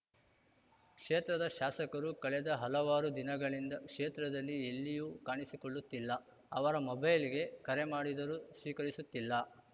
ಕ್ಷೇತ್ರದ ಶಾಸಕರು ಕಳೆದ ಹಲವಾರು ದಿನಗಳಿಂದ ಕ್ಷೇತ್ರದಲ್ಲಿ ಎಲ್ಲಿಯೂ ಕಾಣಿಸಿಕೊಳ್ಳುತ್ತಿಲ್ಲ ಅವರ ಮೊಬೈಲ್‌ಗೆ ಕರೆ ಮಾಡಿದರೂ ಸ್ವೀಕರಿಸುತ್ತಿಲ್ಲ